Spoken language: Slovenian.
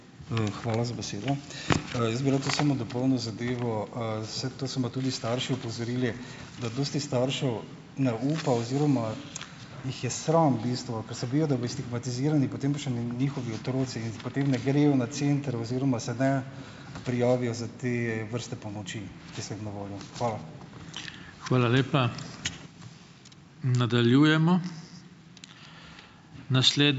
Hvala za besedo. Jaz bi rad tu samo dopolnil zadevo. Saj, to so me tudi starši opozorili, da dosti staršev ne upa oziroma jih je sram v bistvu, ker se bojijo, da bojo stigmatizirani, potem pa še njihovi otroci potem ne grejo na center oziroma se ne prijavijo za te vrste pomoči, ki so jim na voljo. Hvala.